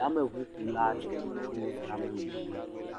Yameʋu kula ɖi tso yameʋu me gbɔ na